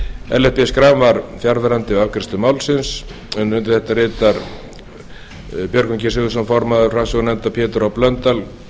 ellert b schram var fjarverandi við afgreiðslu málsins undir þetta rita björgvin g sigurðsson formaður framsögumaður pétur h blöndal